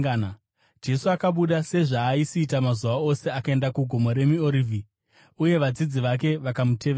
Jesu akabuda sezvaaisiita mazuva ose akaenda kuGomo reMiorivhi, uye vadzidzi vake vakamutevera.